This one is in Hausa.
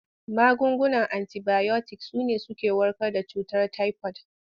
Magungunan antibayotik su ne suke warkar da cutar tayifod.